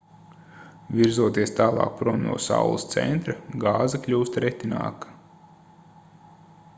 virzoties tālāk prom no saules centra gāze kļūst retinākā